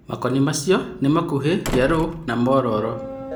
Makoni macio nĩmakuhĩ ,yeloo na mororo.